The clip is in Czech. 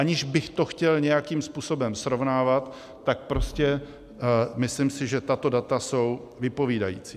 Aniž bych to chtěl nějakým způsobem srovnávat, tak prostě myslím si, že tato data jsou vypovídající.